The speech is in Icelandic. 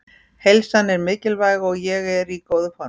Heilsan er mikilvæg og ég er í góðu formi.